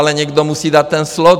Ale někdo musí dát ten slot (?).